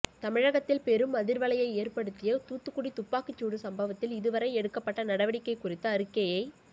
தமிழகத்தில் பெரும் அதிர்வலையை ஏற்படுத்திய தூத்துக்குடி துப்பாக்கிச் சூடு சம்பவத்தில் இதுவரை எடுக்கப்பட்ட நடவடிக்கை குறித்த அறிக்கையை